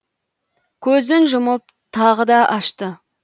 көзін жұмып тағы да ашты